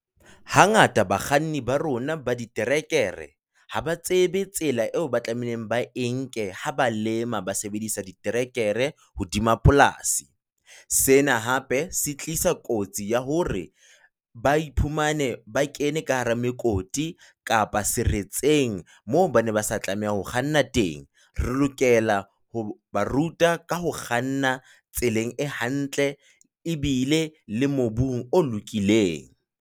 Hangata bakganni ba rona ba diterekere ha ba tsebe tsela eo ba tlameileng ba e nke ha ba lema ba sebedisa diterekere hodima polasi. Sena hape se tlisa kotsi ya hore ba iphumane ba kene ka hara mokoti kapa seretseng moo baneng ba sa tlameha ho kganna teng, re lokela ho ba ruta ka ho kganna tseleng e hantle ebile le mobung o lokileng.